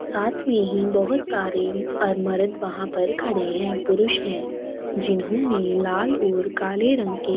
साथ में ही बहुत सारे अर मरद वहाँ पर खड़े है पुरुष है जिन्होंने लाल और काले रंग के --